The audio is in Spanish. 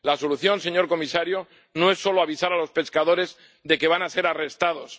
La solución, señor comisario, no es solo avisar a los pescadores de que van a ser arrestados.